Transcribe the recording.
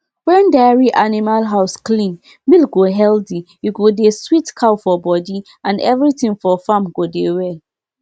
to dey allow our animal um chop together don teach us make we respect each other space dey take care of our animal well.